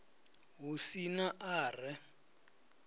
hu si na a re